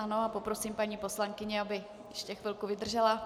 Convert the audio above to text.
Ano a poprosím paní poslankyni , aby ještě chvilku vydržela.